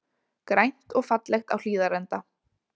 Grænt og fallegt á Hlíðarenda